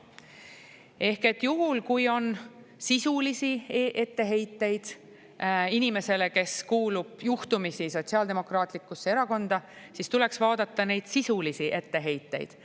Ehk et juhul, kui on sisulisi etteheiteid inimesele, kes kuulub juhtumisi Sotsiaaldemokraatlikusse Erakonda, siis tuleks vaadata neid sisulisi etteheiteid.